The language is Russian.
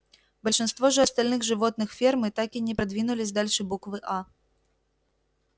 большинство же остальных животных фермы так и не продвинулись дальше буквы а